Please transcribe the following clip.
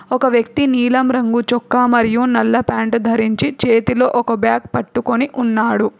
ఒక వ్యక్తి నీలం రంగు చొక్కా మరియు నల్ల ప్యాంటు ధరించి చేతిలో ఒక బ్యాగ్ పట్టుకొని ఉన్నాడు.